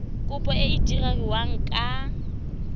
kopo e e diragadiwa ka